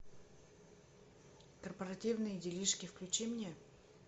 корпоративные делишки включи мне